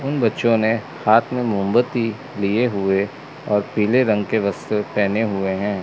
उन बच्चों ने हाथ में मोमबत्ती लिए हुए और पीले रंग के वस्त्र पहने हुए हैं।